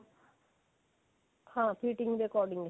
ਹਾਂ ਫਿਟਿੰਗ ਦੇ according